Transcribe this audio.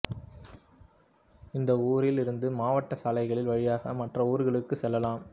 இந்த ஊரில் இருந்து மாவட்டச் சாலைகளின் வழியாக மற்ற ஊர்களுக்கு செல்லலாம்